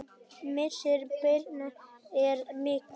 Missir Birnu er mikill.